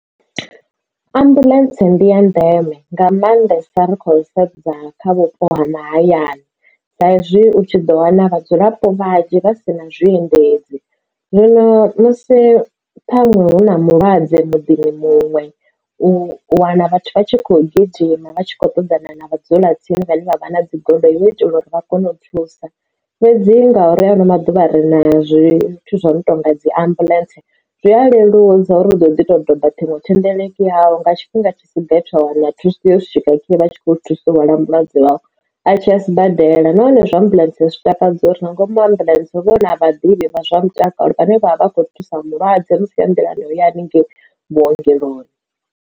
Ambuḽentse ndi ya ndeme nga maandesa ri kho sedza kha vhupo ha mahayani sa izwi u tshi ḓo wana vhadzulapo vhanzhi vha si na zwiendedzi zwino musi ṱhaṅwe hu na mulwadze muḓini muṅwe u wana vhathu vha tshi kho gidima vha tshi khou ṱoḓana na vhadzula tsini vhane vha vha na dzi goloi hu u itela uri vha kone u thusa fhedzi ngauri ha ano maḓuvha ri na zwithu zwo no tonga dzi ambuḽentse zwi a leludza uri u ḓo ḓi to doba ṱhingo thendeleki yau nga tshifhinga tshi si gathi wa wana thuso ya swika vha tshi kho thusa mulwadze wau a tshi a sibadela nahone zwa ambuḽentse a si takadza uri nga ngomu ambuḽentse vhona vhaḓivhi vha zwa mutakalo ane avha akho thusa mulwadze musi a nḓilani ya uya hanengei vhuongeloni.